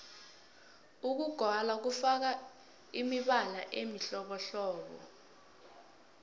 ukugwala kufaka imibala emihlobohlobo